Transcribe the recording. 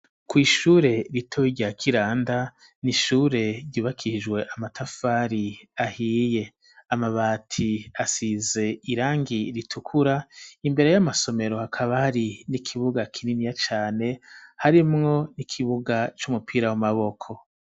Kw'ishure ritowe rya kiranda niishure ryubakishijwe amatafari ahiye amabati asize irangi ritukura imbere y'amasomero hakabari n'ikibuga kininiya cane harimwo n'ikibuga c'umupira w'amaboko.